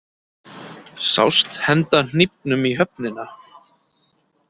Sást henda hnífnum í höfnina